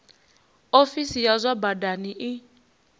ofisi ya zwa badani i